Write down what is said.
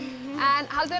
en haldið